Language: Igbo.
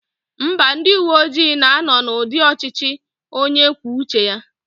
Mba, ndị uwe ojii na-anọ n'ụdị ọchịchị onye kwuo uche ya